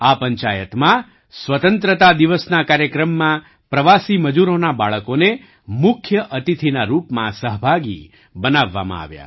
આ પંચાયતમાં સ્વતંત્રતા દિવસના કાર્યક્રમમાં પ્રવાસી મજૂરોનાં બાળકોને મુખ્ય અતિથિના રૂપમાં સહભાગી બનાવવામાં આવ્યા